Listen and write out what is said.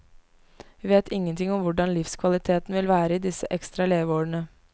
Vi vet ingen ting om hvordan livskvaliteten vil være i disse ekstra leveårene.